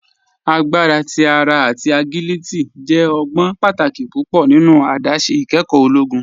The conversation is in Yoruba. Agbara ti ara ati agiliti jẹ ọgbọn pátàkì púpọ nínu àdásé ìkẹ́kọ ologun.